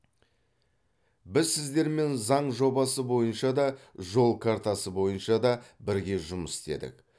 біз сіздермен заң жобасы бойынша да жол картасы бойынша да бірге жұмыс істедік